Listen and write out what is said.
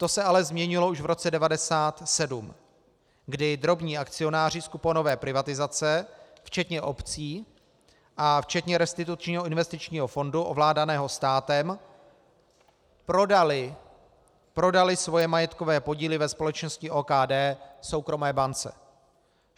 To se ale změnilo už v roce 1997, kdy drobní akcionáři z kuponové privatizace včetně obcí a včetně Restitučního investičního fondu ovládaného státem prodali svoje majetkové podíly ve společnosti OKD soukromé bance.